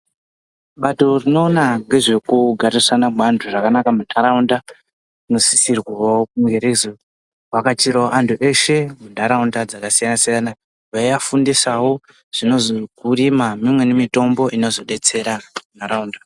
Bato rinoona ngezvekugarisana mweantu zvakanaka muntaraunda inosisirwawo kunge reizo vakachirawo vantu veshe muntaraunda dzakasiyana siyana veivafundisawo mimweni mitombo inozodetsera ntaraunda.